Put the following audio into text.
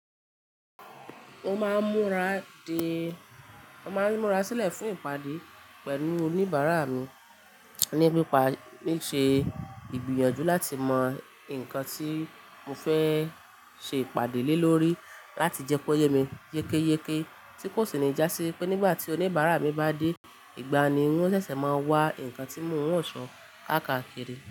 Mo máa ń múra de, mo máa ń múra sílẹ̀ fún ìpàdé pẹ̀lú oníbàárà mi ní pípa ní ṣe ìgbìyànjú láti mọ nǹkan tí mo fẹ́ ṣe ìpàdé lé lórí láti jẹ́ pé ó yé mi yékéyéké tí kò sì ní já sí wipé nígbà tí oníbàárà mi bá dé, ìgbàun ni n o ṣẹ̀ṣẹ̀ máa wá ǹkan tí mò ń ránṣọ káàkakiri.